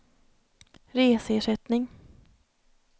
reseersättning